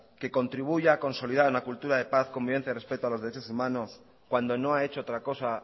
que contribuya a consolidar una cultura de paz convivencia y respeto a los derechos humanos cuando no ha hecho otra cosa